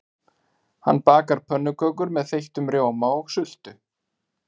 Hanna bakar pönnukökur með þeyttum rjóma og sultu.